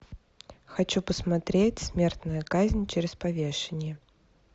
хочу посмотреть смертная казнь через повешение